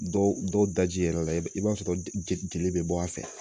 Dɔw dɔw daji yɛrɛ i b'a i b'a sɔrɔ jeli bɛ bɔ a fɛ